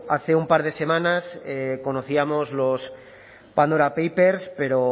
hace un par de semanas conocíamos los pandora papers pero